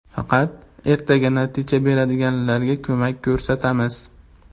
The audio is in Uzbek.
Faqat ertaga natija beradiganlarga ko‘mak ko‘rsatamiz.